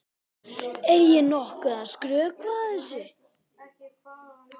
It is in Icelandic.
Er ég nokkuð að skrökva þessu?